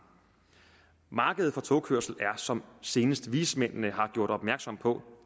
markedet for togkørsel er som senest vismændene har gjort opmærksom på